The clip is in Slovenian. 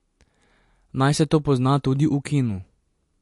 Naj se to pozna tudi v kinu.